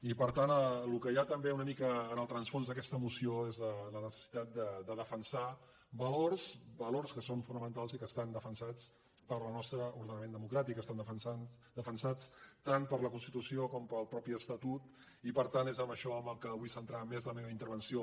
i per tant el que hi ha una mica en el rerefons d’aquesta moció és la necessitat de defensar valors que són fonamentals i que estan defensats pel nostre ordenament democràtic estan defensats tant per la constitució com pel mateix estatut i per tant és en això que vull centrar més la meva intervenció